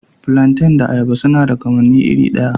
Flantains da ayaba suna da kamanni iri ɗaya.